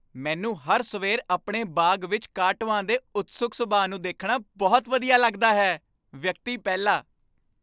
ਮੈਨੂੰ ਹਰ ਸਵੇਰ ਆਪਣੇ ਬਾਗ਼ ਵਿੱਚ ਕਾਟੋਆਂ ਦੇ ਉਤਸੁਕ ਸੁਭਾਅ ਨੂੰ ਦੇਖਣਾ ਬਹੁਤ ਵਧੀਆ ਲੱਗਦਾ ਹੈ ਵਿਅਕਤੀ ਪਹਿਲਾ